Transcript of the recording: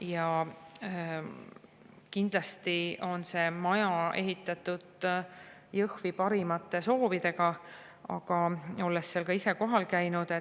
Jaa, kindlasti on see maja Jõhvi ehitatud parimate soovidega, aga ma olen seal ise kohal käinud ja